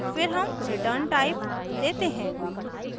फिर हम return _ type देते हैं